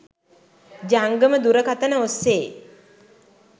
ජංගම දුරකථන ඔස්සේ